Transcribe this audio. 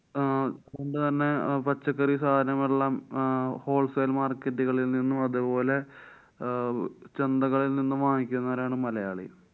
അഹ് അതുകൊണ്ട് തന്നെ പച്ചക്കറി സാധനങ്ങളെല്ലാം അഹ് wholesale market കളില്‍ നിന്നും അതുപോലെ അഹ് ചന്തകളില്‍ നിന്നും വാങ്ങിക്കുന്നവരാണ് മലയാളി.